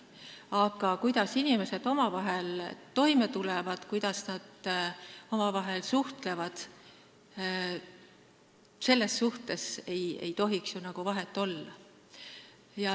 Aga selles suhtes, kuidas inimesed omavahel toime tulevad ja kuidas nad omavahel suhtlevad, ei tohiks ju nagu vahet olla.